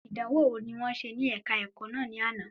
Ìdánwò ní wọ́n ṣe ní ẹ̀ka ẹ̀kọ́ náà ní àná